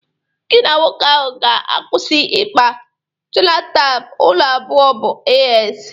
Gi na nwoke ahụ ga-akwụsị ikpa: jenotaịp ụnụ abụọ bụ AS.!